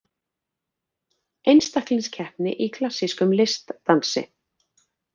Einstaklingskeppni í klassískum listdansi